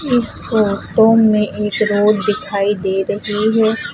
इस फोटो में एक रोड दिखाई दे रही है।